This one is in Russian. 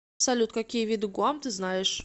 салют какие виды гуам ты знаешь